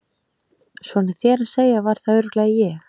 Svona þér að segja var það örugglega ég